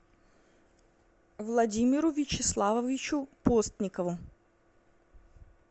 владимиру вячеславовичу постникову